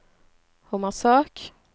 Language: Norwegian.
Hommersåk